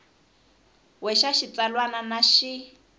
we xa xitsalwana na xin